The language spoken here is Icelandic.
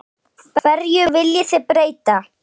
Hverju viljið þið breyta?